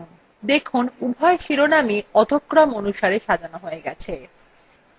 দেখুন উভয় শিরোনামই অধ: ক্রম অনুসারে সাজানো হয়ে গেছে